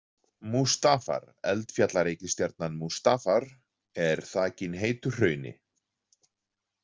Mustafar- Eldfjallareikistjarnan Mustafar er þakin heitu hrauni.